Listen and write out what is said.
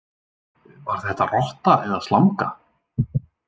Var þetta rotta eða slanga?